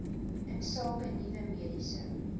insake nuwe mediese